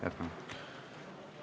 Jätkame!